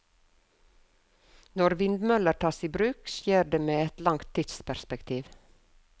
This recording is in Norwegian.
Når vindmøller tas i bruk, skjer det med et langt tidsperspektiv.